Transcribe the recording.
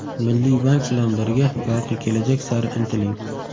Milliy bank bilan birga yorqin kelajak sari intiling!